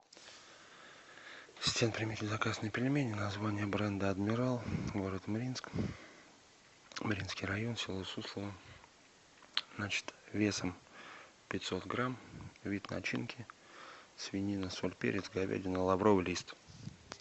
ассистент примите заказ на пельмени название бренда адмирал город мариинск мариинский район село суслово значит весом пятьсот грамм вид начинки свинина соль перец говядина лавровый лист